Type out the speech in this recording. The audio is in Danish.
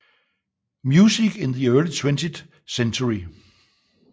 Music in the Early Twentieth Century